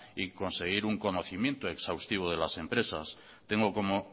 y conseguir un conocimiento exhaustivo de las empresas tengo como